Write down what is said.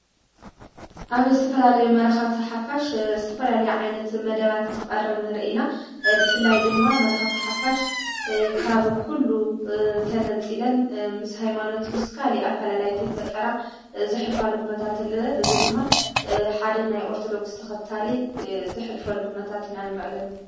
ኣብ እስተፈላለዩ መራኸብቲ ሓፋሽ ዝተፈላል ዓይነት መደባትን ትቐረብኒ ርኢና ብፍላይ ድማ መራኸብቲ ሓፋሽ ካብ ዂሉ ተነጺለን ምስ ሓይማኖት ምስካል ኣፈላላይ ተይፈጠራ ዘኅልፋሉ ኽነታትለ እዙ ድማ ሓደ ናይ ኦርተዶክሥ ተኸታሊ ዘሕልፈሉ ኹነታት ኢና ንረኢ ኣለና።